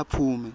aphume